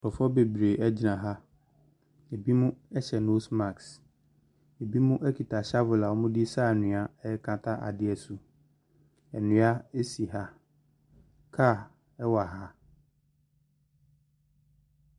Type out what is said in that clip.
Nkorɔfoɔ bebree egyina ha ebi mo ɛhyɛ nos mask ebi nom ekita hyafel a wɔde saa anhwia ɛkata adiɛ so ndua esi ha kar ɛwɔ ha.